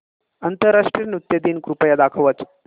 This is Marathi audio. आंतरराष्ट्रीय नृत्य दिन कृपया दाखवच